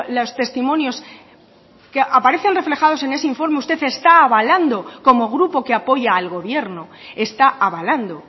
los testimonios que aparecen reflejados en ese informe usted está avalando como grupo que apoya al gobierno está avalando